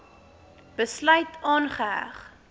besluit aangeheg